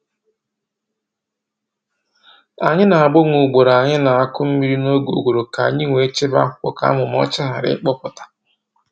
Anyị na-agbanwe ugboro anyị na-akụ mmiri n’oge ụgụrụ ka anyị wee chebe akwụkwọ ka amụmà ọcha ghara ịkpụpụta."